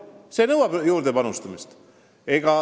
See vajab lisaraha.